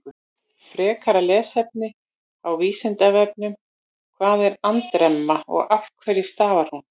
Frekara lesefni á Vísindavefnum: Hvað er andremma og af hverju stafar hún?